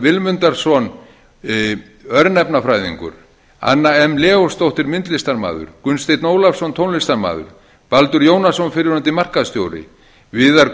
vilmundarson örnefnafræðingur anna m leósdóttir myndlistarmaður gunnsteinn ólafsson tónlistarmaður baldur jónasson fyrrverandi markaðsstjóri viðar